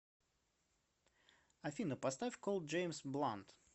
афина поставь колд джеймс блант